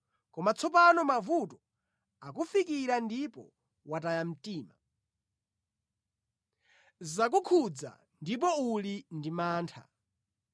Koma tsopano mavuto akufikira ndipo wataya mtima, zakukhudza ndipo uli ndi mantha.